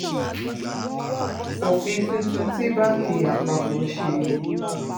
òfin tuntun tí báǹkì àpapọ̀ ṣe ni